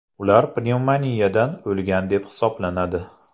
Ular pnevmoniyadan o‘lgan deb hisoblanadi.